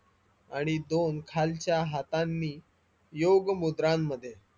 आणि दोन खालच्या हातांनी योग मुद्रांमध्ये